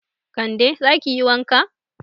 Kande, za ki yi wanka.